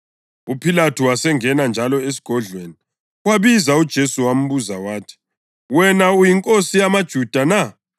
UPhilathu wasengena njalo esigodlweni, wabiza uJesu wambuza wathi, “Wena uyinkosi yamaJuda na?”